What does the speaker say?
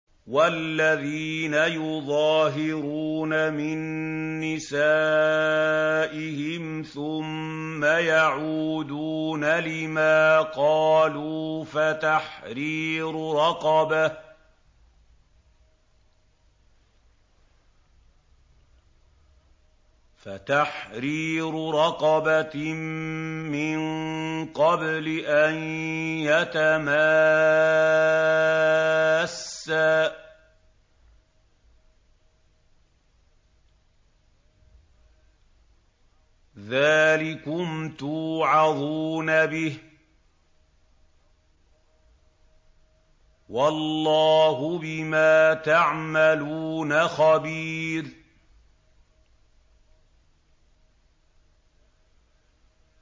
وَالَّذِينَ يُظَاهِرُونَ مِن نِّسَائِهِمْ ثُمَّ يَعُودُونَ لِمَا قَالُوا فَتَحْرِيرُ رَقَبَةٍ مِّن قَبْلِ أَن يَتَمَاسَّا ۚ ذَٰلِكُمْ تُوعَظُونَ بِهِ ۚ وَاللَّهُ بِمَا تَعْمَلُونَ خَبِيرٌ